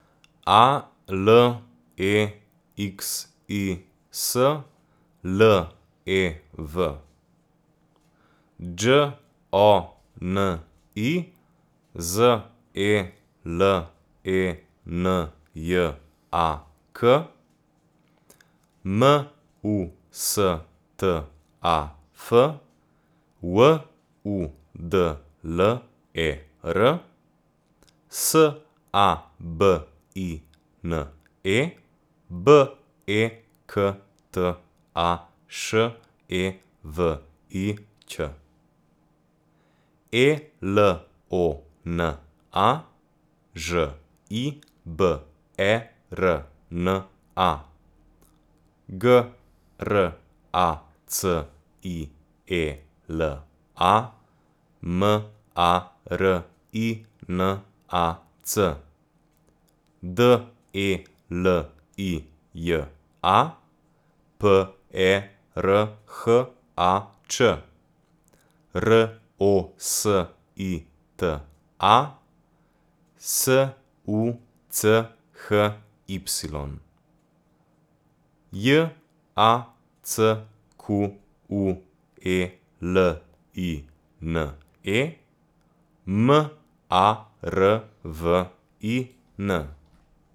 A L E X I S, L E V; Đ O N I, Z E L E N J A K; M U S T A F, W U D L E R; S A B I N E, B E K T A Š E V I Ć; E L O N A, Ž I B E R N A; G R A C I E L A, M A R I N A C; D E L I J A, P E R H A Č; R O S I T A, S U C H Y; J A C Q U E L I N E, M A R V I N.